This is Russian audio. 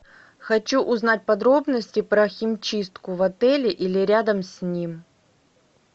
хочу узнать подробности про химчистку в отеле или рядом с ним